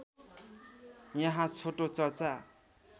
यहाँ छोटो चर्चा